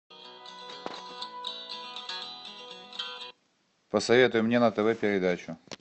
посоветуй мне на тв передачу